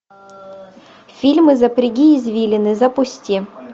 фильмы запряги извилины запусти